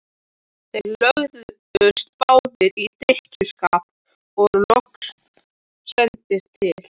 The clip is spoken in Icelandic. Þeir lögðust báðir í drykkjuskap og voru loks sendir til